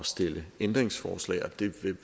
stille ændringsforslag og det vil